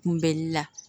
Kunbɛnli la